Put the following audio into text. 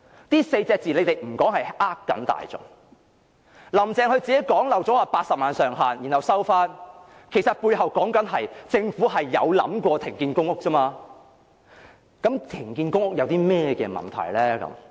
政府不談這4隻字是欺騙大眾，"林鄭"自己脫口說出80萬上限，之後又收回，其實背後說的是，政府有想過停建公屋而已，它認為停建公屋並沒有問題。